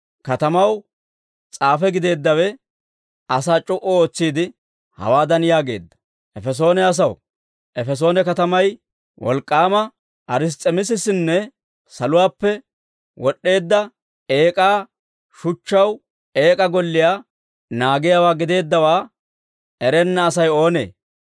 Katamaw s'aafe gideeddawe asaa c'o"u ootsiide, hawaadan yaageedda; «Efesoone asaw, Efesoone katamay wolk'k'aama Ars's'emisisinne saluwaappe wod'd'eedda eek'aa shuchchaw eek'aa golliyaa naagiyaawaa gideeddawaa erenna Asay oonee?